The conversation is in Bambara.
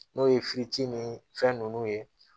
N'o ye ni fɛn ninnu ye